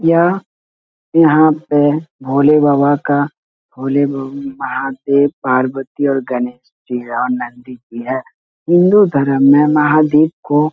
यह यहाँ पे भोले बाबा का भोले बा महादेव पार्वती और गणेश जी है और नंदी जी है । हिन्दू धर्म में महादेव को --